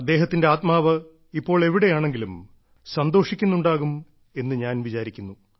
അദ്ദേഹത്തിന്റെ ആത്മാവ് ഇപ്പോൾ എവിടെയാണെങ്കിലും സന്തോഷിക്കുന്നുണ്ടാകും എന്ന് ഞാൻ വിചാരിക്കുന്നു